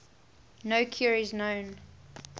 no cure is known